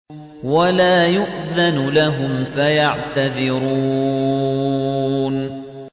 وَلَا يُؤْذَنُ لَهُمْ فَيَعْتَذِرُونَ